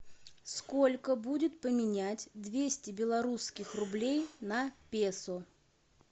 сколько будет поменять двести белорусских рублей на песо